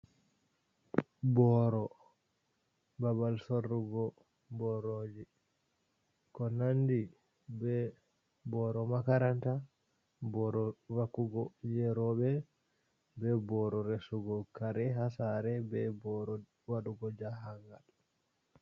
Booro, babal sorrugo borooji, ko nandi be boro makaranta, boro vakkugo jei rowɓe. Ɓe boro resugo kare ha sare, be boro waɗugo jahangal.